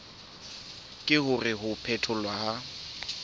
ke hore ho phetholwa ha